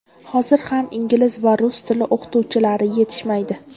Hozir ham ingliz va rus tili o‘qituvchilari yetishmaydi.